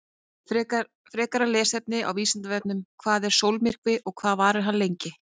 Frekara lesefni á Vísindavefnum: Hvað er sólmyrkvi og hvað varir hann lengi?